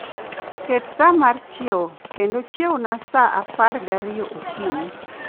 Ket sa mar chiewo kendo chiewna saa apar gariyo okinyi